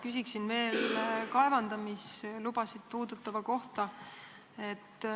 Küsin veel kaevandamislubade kohta.